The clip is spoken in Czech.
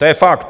To je fakt.